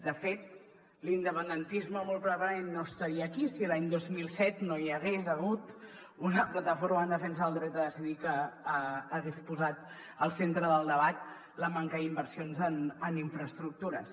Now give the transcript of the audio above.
de fet l’independentisme molt probablement no estaria aquí si l’any dos mil set no hi hagués hagut una plataforma en defensa del dret a decidir que hagués posat al centre del debat la manca d’inversions en infraestructures